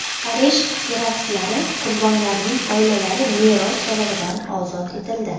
Parij teraktlari qurbonlarining oilalari meros solig‘idan ozod etildi.